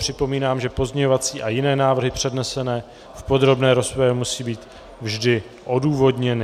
Připomínám, že pozměňovací a jiné návrhy přednesené v podrobné rozpravě musí být vždy odůvodněny.